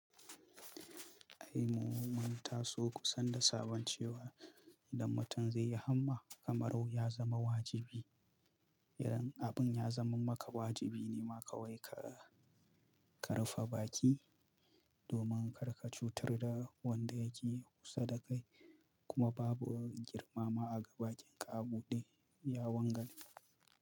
Ai mu mun taso kusan da sabon cewa, idan mutum zai yi hamma kamar ya zama wajibi. Idan abun ya zama maka wajibi ne ma kawai ka, ka rufe baƙi domin kar ka cutar da wanda yake kusa da kai kuma babu girma ma a ga baƙin ka a buɗe. Ya wangale.